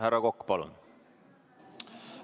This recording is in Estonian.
Härra Kokk, palun!